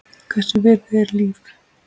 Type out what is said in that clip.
Hvers virði er líf?